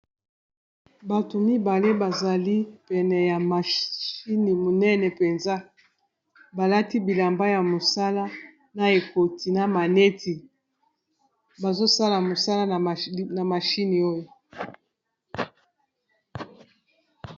Bato mibale bazali pene ya mashini monene mpenza balati bilamba ya mosala na ekoti na maneti bazosala mosala na mashini oyo.